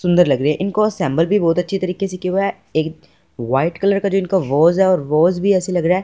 सुंदर लग रही इनको असेंबल भी बहुत अच्छे तरीके से किया हुआ है एक व्हाइट कलर का जो इनका रोज़ है और रोज़ भी ऐसे लग रहा--